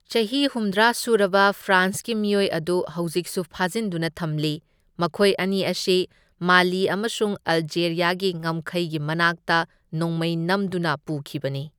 ꯆꯍꯤ ꯍꯨꯝꯗ꯭ꯔꯥ ꯁꯨꯔꯕ ꯐ꯭ꯔꯥꯟꯁꯀꯤ ꯃꯤꯑꯣꯏ ꯑꯗꯨ ꯍꯧꯖꯤꯛꯁꯨ ꯐꯥꯖꯤꯟꯗꯨꯅ ꯊꯝꯂꯤ, ꯃꯈꯣꯢ ꯑꯅꯤ ꯑꯁꯤ ꯃꯥꯂꯤ ꯑꯃꯁꯨꯡ ꯑꯜꯖꯦꯔꯌꯥꯒꯤ ꯉꯝꯈꯩꯒꯤ ꯃꯅꯥꯛꯇ ꯅꯣꯡꯃꯩ ꯅꯝꯗꯨꯅ ꯄꯨꯈꯤꯕꯅꯤ꯫